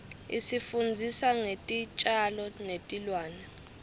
isifundzisa ngetitjalo netilwane